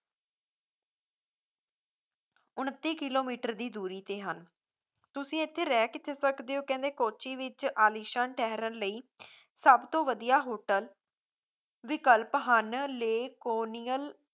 ਉਨੱਤੀ ਕਿਲੋਮੀਟਰ ਦੀ ਦੂਰੀ ਤੇ ਹਨ ਤੁਸੀ ਇੱਥੇ ਰਹਿ ਕਿੱਥੇ ਸਕਦੇ ਹੋ ਕਹਿੰਦੇ ਕੋਚੀ ਵਿੱਚ ਆਲੀਸ਼ਾਨ ਠਹਿਰਣ ਲਈ ਸਭਤੋਂ ਵਧੀਆ hotel ਵਿਕਲਪ ਹਨ ਲੇਹ ਕੋਨੀਅਲ